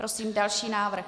Prosím další návrh.